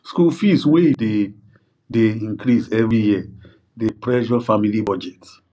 school fees wey dey dey increase every year dey pressure family budget